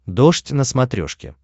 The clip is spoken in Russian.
дождь на смотрешке